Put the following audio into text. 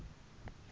kute likhono